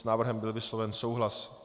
S návrhem byl vysloven souhlas.